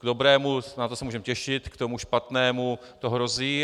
K dobrému, na to se můžeme těšit, k tomu špatnému to hrozí.